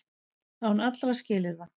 Án allra skilyrða.